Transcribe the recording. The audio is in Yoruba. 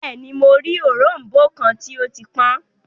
Bẹẹni, Mo rii orombo kan ti o ti pọn